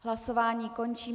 Hlasování končím.